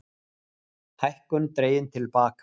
Hækkun dregin til baka